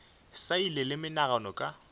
sa ile le menagano ka